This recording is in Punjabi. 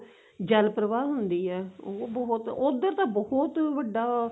ਜਲ ਪ੍ਰਵਾਹ ਹੁੰਦੀ ਏ ਉਹ ਬਹੁਤ ਉੱਧਰ ਤਾਂ ਬਹੁਤ ਵੱਡਾ